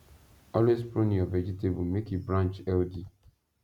always prune your vegetable make e branch healthy